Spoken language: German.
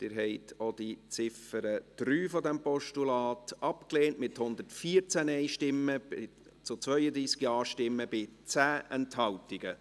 Sie haben auch die Ziffer 3 dieses Postulats abgelehnt, mit 114 Nein- zu 32 Ja-Stimmen bei 10 Enthaltungen.